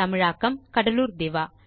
தமிழாக்கம் கடலூர் திவா